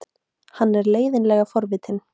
Hann er leiðinlega forvitinn.